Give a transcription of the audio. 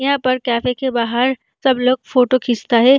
यहाँ पर कैफ़े के बाहर सब लोग फोटो खींचता है।